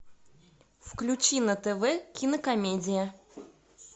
включи на тв кинокомедия